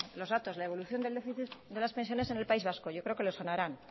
los datos la evolución del déficit de las pensiones en el país vasco yo creo que le sonarán